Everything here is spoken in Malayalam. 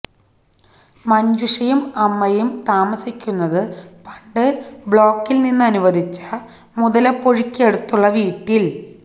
മഞ്ജുഷയും അമ്മയും താമസിക്കുന്നത് പണ്ട് ബ്ലോക്കില് നിന്ന് അനുവദിച്ച മുതലപ്പൊഴിക്ക് അടുത്തുള്ള വീട്ടില്